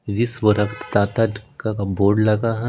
विश्व रक्तदाता का बोर्ड लगा है।